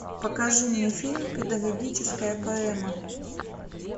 покажи мне фильм педагогическая поэма